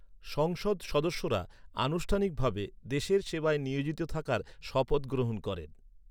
সংসদ সদস্যরা আনুষ্ঠানিকভাবে দেশের সেবায় নিয়োজিত থাকার শপথ গ্রহণ করেন।